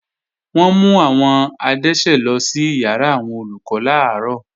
Wọ́n mú àwọn adẹ́ṣẹ̀ lọ sí ìyàrá àwọn Olùkọ́ làárọ̀